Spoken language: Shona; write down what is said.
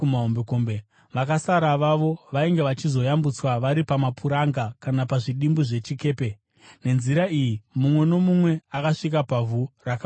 Vakasara vavo vainge vachizoyambutswa vari pamapuranga kana pazvidimbu zvechikepe. Nenzira iyi, mumwe nomumwe akasvika pavhu rakaoma zvakanaka.